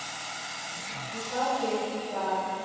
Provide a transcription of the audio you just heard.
Ég sá þig í dag